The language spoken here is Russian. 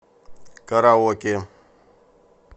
караоке